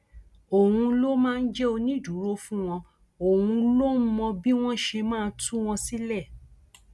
òun ló máa ń jẹ onídùúró fún wọn òun ló ń mọ bí wọn ṣe máa tú wọn sílẹ